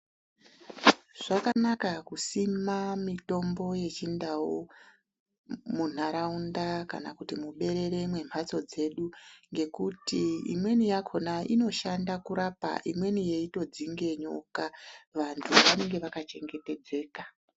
Zvakanaka kusima mitombo yechindau mundaraunda kana kuti muberere membatso dzedu ngekuti imweni yakona inoshanda kurapa imweni yeitodzinga nyoka vantu vanenge vakachengetedzeka.